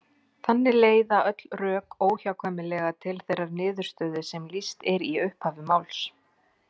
Þannig leiða öll rök óhjákvæmilega til þeirrar niðurstöðu sem lýst er í upphafi máls.